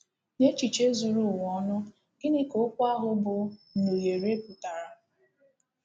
N’echiche zuru ụwa ọnụ, gịnị ka okwu ahụ bụ́ “ nhunyere ” pụtara?